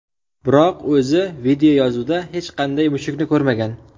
Biroq o‘zi videoyozuvda hech qanday mushukni ko‘rmagan.